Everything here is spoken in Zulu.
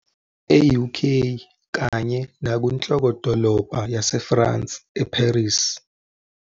E-UK kanye nakunhlokodolobha yaseFrance, e-Paris.